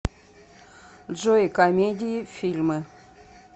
джой комедии фильмы